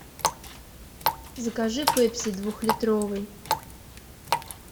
закажи пепси двухлитровый